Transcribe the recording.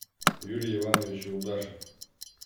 юрий иванович юлдашев